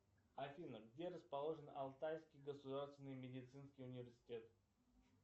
афина где расположен алтайский государственный медицинский университет